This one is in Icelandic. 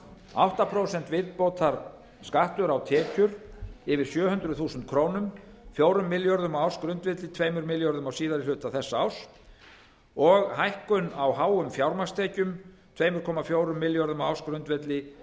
átta prósent viðbótarskattur á tekjur yfir sjö hundruð þúsund krónur fjórum milljörðum á ársgrundvelli þremur milljörðum á síðari hluta þessa árs og hækkun á háum fjármagnstekjum tvö komma fjórum milljörðum á ársgrundvelli